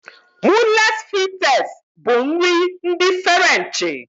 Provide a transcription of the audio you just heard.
Moules Frites bụ nri ndi Ferenchi